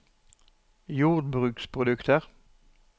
jordbruksprodukter